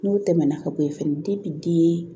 N'o tɛmɛna ka bɔ yen fɛnɛ den